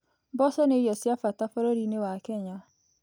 Mboco nĩ irio cia bata bũrũri-inĩ wa Kenya.